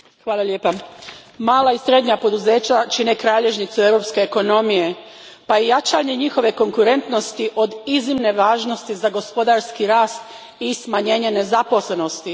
Gospodine predsjedniče, mala i srednja poduzeća čine kralježnicu europske ekonomije pa je jačanje njihove konkurentnosti od iznimne važnosti za gospodarski rast i smanjenje nezaposlenosti.